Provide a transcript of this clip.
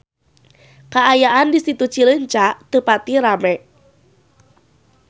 Kaayaan di Situ Cileunca teu pati rame